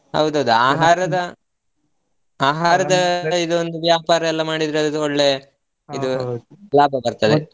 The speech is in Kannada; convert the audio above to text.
ಹೌದು ಹೌದು ಆಹಾರದ ಆಹಾರದ ಇದೊಂದ ವ್ಯಾಪಾರ ಮಾಡಿದ್ರೆ ಇದು ಒಳ್ಳೇ ಇದು ಲಾಭ ಬರ್ತದೆ.